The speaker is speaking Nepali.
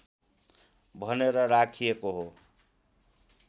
भनेर राखिएको हो